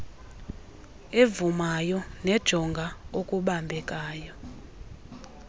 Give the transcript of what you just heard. evumayo nejonga okubambekayo